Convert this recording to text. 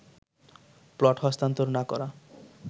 plot হস্তান্তর না করা